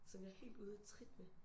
Som jeg er helt ude af trit med